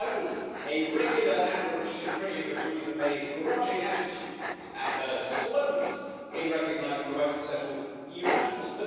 I was a regular and repeated critic of Theresa May's grudging attitude and her slowness in recognising the rights of settled EU nationals.